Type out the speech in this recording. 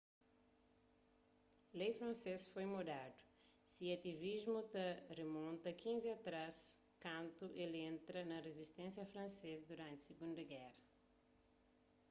lei fransês foi mudadu se ativismu ta rimonta 15 atrás kantu el entra na rizisténsia fransês duranti sigunda géra